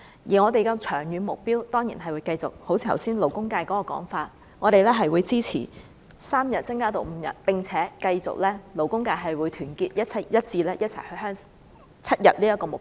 而我們的長遠目標，正如剛才勞工界的說法，當然是支持由3天增至5天，並且勞工界會繼續團結一致，一起爭取7天這個目標。